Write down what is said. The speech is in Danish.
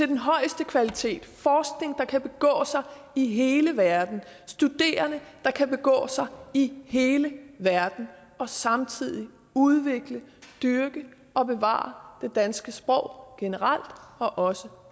den højeste kvalitet forskning der kan begå sig i hele verden studerende der kan begå sig i hele verden og samtidig udvikle dyrke og bevare det danske sprog generelt og også